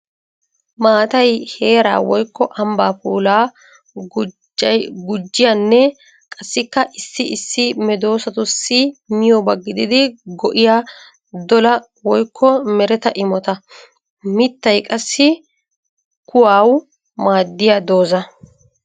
Maattay heera woykko ambba puula gujiyanne qassikka issi issi medosatussi miyoba gididdi go'iya dolla woykko meretta imotta. Mittay qassi kuwawu maadiya dooza.